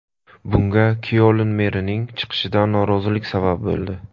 Bunga Kyoln merining chiqishidan norozilik sabab bo‘ldi.